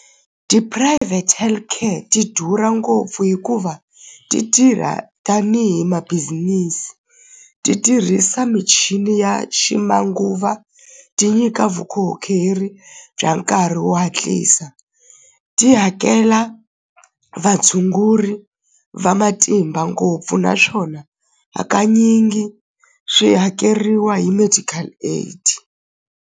Ti-private health care ti durha ngopfu hikuva ti tirha tanihi ma-business ti tirhisa michini ya ximanguva ti nyika vukorhokeri bya nkarhi wo hatlisa ti hakela vatshunguri va matimba ngopfu naswona hakanyingi swi hakeriwa hi medical aid.